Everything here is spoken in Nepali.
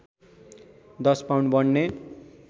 १० पाउन्ड बढ्ने